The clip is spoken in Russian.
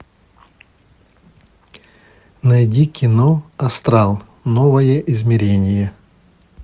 найди кино астрал новое измерение